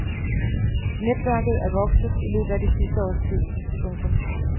Netværket er vokset i løbet af det sidste års tid. punktum